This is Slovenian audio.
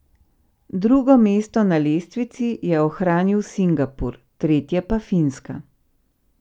Drugo mesto na lestvici je ohranil Singapur, tretje pa Finska.